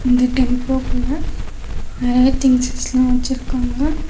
இந்த டெம்போ குள்ள நெறையா திங்ஸ்ஸஸ்லா வெச்சுருக்காங்க.